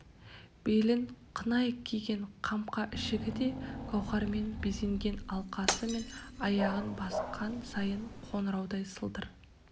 белін қынай киген қамқа ішігі де гауһармен безенген алқасы мен аяғын басқан сайын қоңыраудай сылдыр